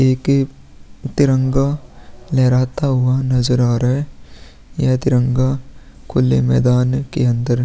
एक तिरंगा लहराता हुआ नजर आ रहा है यह तिरंगा खुले मैदान के अंदर --